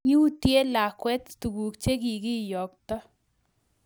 Kiutye lakwet tuguk chegikiyokto